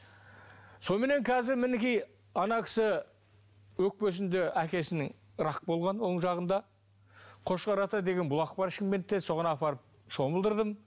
соныменен қазір мінекей ана кісі өкпесінде әкесінің рак болған оң жағында қошқар ата деген бұлақ бар шымкентте соған апарып шомылдырдым